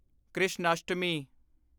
Krishnashtami